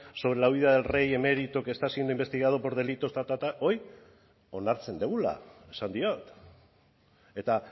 sobre la vida del rey emérito que está siendo investigado por delitos ta ta ta hoy onartzen dugula esan diot eta